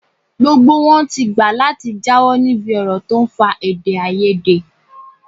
Gbogbo wọn ti gbà láti jáwọ́ níbi ọ̀rọ̀ tó ń fa èdè-áiyedé.